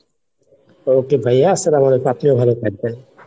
okay ভাইয়া আস্সালামালাইকুম, আপনিও ভালো থাকবেন।